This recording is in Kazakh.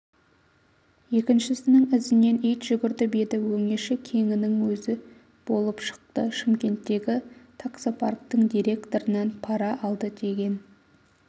екіншісінің ізінен ит жүгіртіп еді өңеші кеңінің өзі болып шықты шымкенттегі таксопарктің директорынан пара алды деген